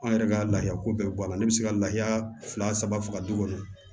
An yɛrɛ ka laafiya ko bɛɛ bɔ a la ne bɛ se ka lahaya fila saba faga du kɔnɔ